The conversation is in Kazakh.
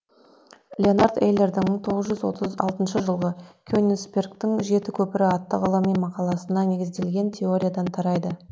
леонард эйлердің мың жеті жүз отыз алтыншы жылғы кенинсбергтің жеті көпірі атты ғылыми мақаласына негізделген теориядан тарайды